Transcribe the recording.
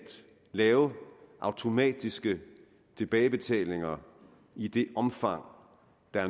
lave automatiske tilbagebetalinger i det omfang